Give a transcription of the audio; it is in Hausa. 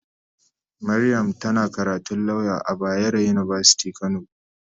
Mariam tana karatun lauya a bayaro university kano.